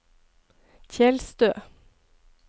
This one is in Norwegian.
Tjeldstø